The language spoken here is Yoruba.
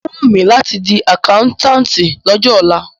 Ó wùn mí láti di àkáńtátì lọ́jọ́ ọ̀la.